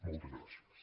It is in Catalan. moltes gràcies